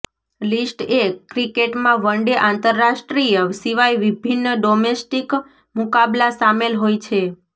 list A ક્રિકેટમાં one day આંતરરાષ્ટ્રીય સિવાય વિભિન્ન ડોમેસ્ટિક મુકાબલા સામેલ હોય છે